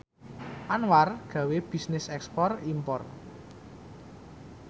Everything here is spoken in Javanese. Anwar gawe bisnis ekspor impor